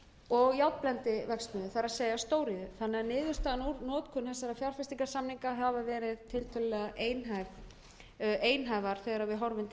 og járnblendiverksmiðju það er stóriðju þannig að niðurstaðan úr notkun þessara fjárfestingarsamninga hafa verið tiltölulega einhæfra þegar við horfur til